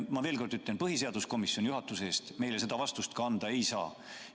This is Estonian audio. Veel kord ütlen: põhiseaduskomisjon juhatuse eest meile seda vastust anda ei saa.